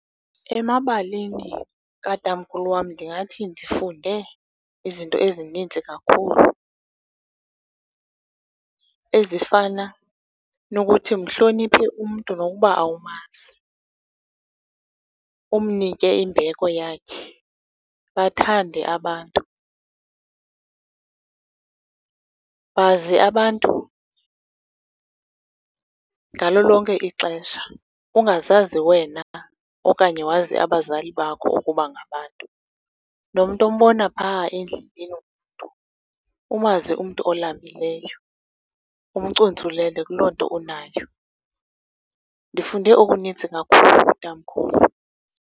Emabalini katamkhulu wam ndingathi ndifunde izinto ezinintsi kakhulu, ezifana nokuthi mhloniphe umntu nokuba awumazi, umnike imbeko yakhe. Bathande abantu, bazi abantu ngalo lonke ixesha, ungazazi wena okanye wazi abazali bakho ukuba ngabantu, nomntu ombona pha endleleni ngumntu. Umazi umntu olambileyo, umcuntsulele kuloo nto unayo. Ndifunde okunintsi kakhulu kutamkhulu.